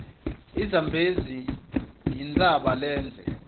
izambezi yintshaba lendze